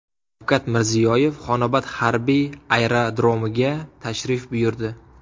Shavkat Mirziyoyev Xonobod harbiy aerodromiga tashrif buyurdi.